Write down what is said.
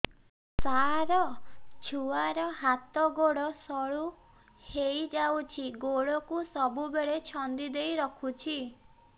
ସାର ଛୁଆର ହାତ ଗୋଡ ସରୁ ହେଇ ଯାଉଛି ଗୋଡ କୁ ସବୁବେଳେ ଛନ୍ଦିଦେଇ ରଖୁଛି